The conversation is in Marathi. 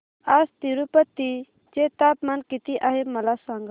आज तिरूपती चे तापमान किती आहे मला सांगा